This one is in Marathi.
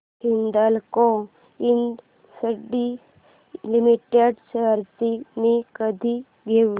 हिंदाल्को इंडस्ट्रीज लिमिटेड शेअर्स मी कधी घेऊ